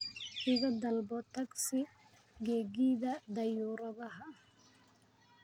iga dalbo tagsi gegida dayuuradaha